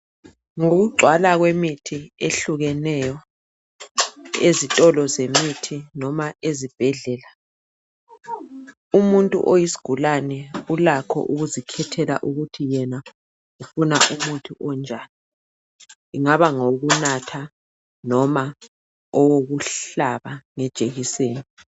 Ngokugcwala kwemithi ehlukeneyo ezitolo zemithi noma ezibhedlela umuntu oyisigulane ulakho ukuzikhethela ukuthi yena ufuna umuthi onjani ingaba ngowokunatha noma owokuhlaba ngejekiseni.